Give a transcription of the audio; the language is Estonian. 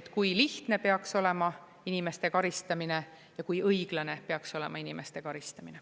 et kui lihtne peaks olema inimeste karistamine ja kui õiglane peaks olema inimeste karistamine.